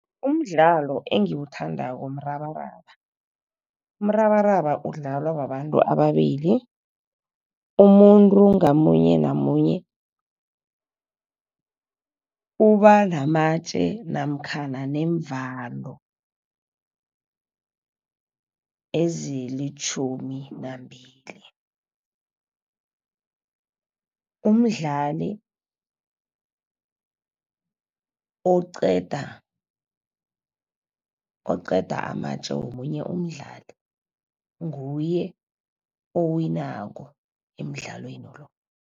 Umdlalo engiwuthandako mrabaraba. Umrabaraba udlalwa babantu ababili, umuntu ngamunye namunye uba namatje namkhana neemvalo ezilitjhumi nambili. Umdlali oqeda, oqeda amatje womunye umdlali nguye owinako emdlalweni lo.